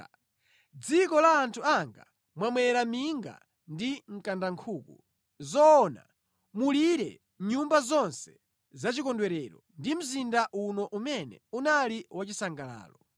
Mʼdziko la anthu anga mwamera minga ndi mkandankhuku. Zoona, mulilire nyumba zonse zachikondwerero ndi mzinda uno umene unali wachisangalalo.